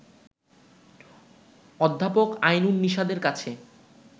অধ্যাপক আইনুন নিশাতের কাছে